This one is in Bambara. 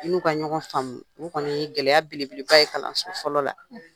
N'u ka ɲɔgɔn faamu o kɔni ye gɛlɛya belebeleba ye kalanso fɔlɔ la